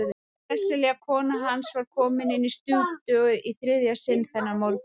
Sesselja kona hans var kominn inn í stúdíóið í þriðja sinn þennan morgun.